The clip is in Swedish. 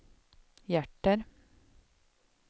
hjärter